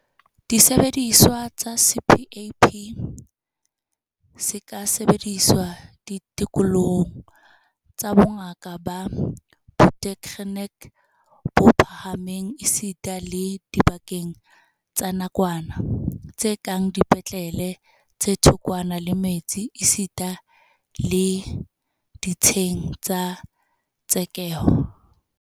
Sesebediswa sa CPAP se ka sebediswa ditikolohong tsa bongaka ba botekgeniki bo phahameng esita le dibakeng tsa nakwana, tse kang dipetlele tse thokwana le metse esita le ditsheng tsa tshekeho.